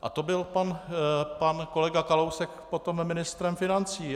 A to byl pan kolega Kalousek potom ministrem financí.